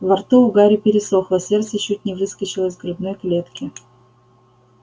во рту у гарри пересохло сердце чуть не выскочило из грудной клетки